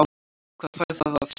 Hvað fær það að sjá?